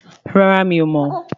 Rárá mi ò mọ́